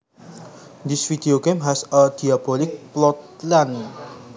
This video game has a diabolic plotline